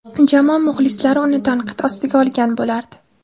Jamoa muxlislari uni tanqid ostiga olgan bo‘lardi.